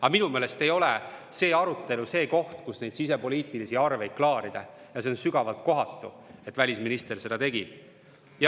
Aga minu meelest tänane arutelu ei ole koht, kus sisepoliitilisi arveid klaarida, ja see on sügavalt kohatu, et välisminister seda tegi.